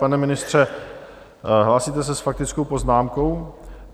Pane ministře, hlásíte se s faktickou poznámkou?